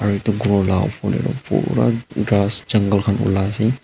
aro itu ghor la upor teh toh pura ghas jungle khan ulai ase.